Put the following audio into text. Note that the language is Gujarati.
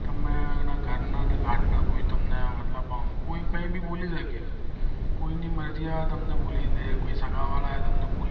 તમે એના ઘર ના ને ઘટ ના કોઈ તમને મતલબ તમને કઈ ભી બોલી શકે કોઈ ની મરજી આ તમને બોલી દે કોઈ સગા વાળા એ તમને બોલી